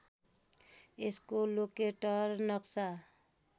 यसको लोकेटर नक्सा